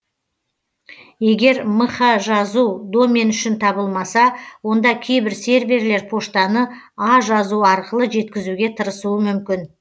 егер мх жазу домен үшін табылмаса онда кейбір серверлер поштаны а жазу арқылы жеткізуге тырысуы мүмкін